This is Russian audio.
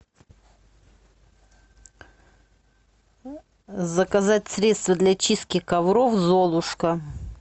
заказать средство для чистки ковров золушка